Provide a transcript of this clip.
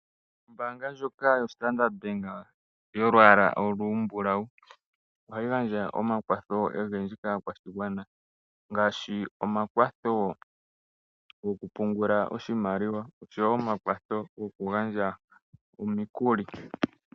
Ombaanga ndjoka yaStandard Bank yolwaala olumbulawu. Ohayi gandja omakwatho ogendji kaakwashigwana. Ngaashi omakwatho goku pungula oshimaliwa nomakwatho goku gandja omikuli.